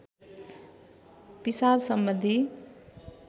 पिसाब सम्बन्धी